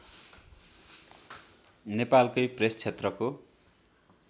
नेपालकै प्रेस क्षेत्रको